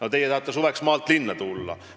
Aga teie tahate suveks maalt linna tulla.